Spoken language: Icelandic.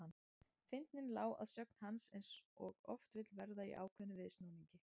Fyndnin lá að sögn hans eins og oft vill verða í ákveðnum viðsnúningi.